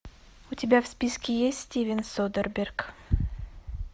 у тебя в списке есть стивен содерберг